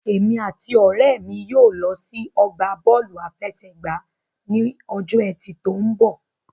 Èmi àti ọ̀rẹ́ mi yóò lọ sínú ọgbà Bọ́ọ̀lù àfẹsẹ̀gbá ní ọjọ́ ẹtì tó mbọ̀